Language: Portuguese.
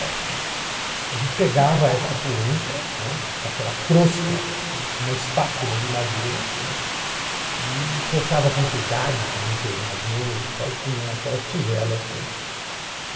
Né. A gente pegava esta polenta, né, com aquela crosta, né, com uma espátula de madeira, né, e cortava com cuidado para não queimar as mãos e tal, punha naquelas tigelas, né. E